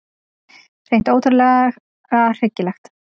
Hreint ótrúlega hryggilegt.